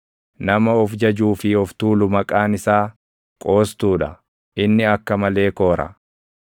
Nama of jajuu fi of tuulu maqaan isaa, “Qoostuu dha;” inni akka malee koora.